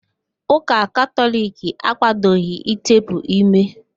Úkà Katọliki akwadoghi ịtepụ ímé